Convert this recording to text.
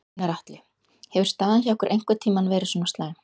Gunnar Atli: Hefur staðan hjá ykkur einhvern tímann verið svona slæm?